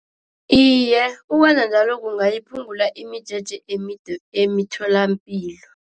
Iye, ukwenza njalo kungayiphungula imijeje emide emitholampilo.